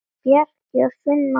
Bjarki og Sunna María.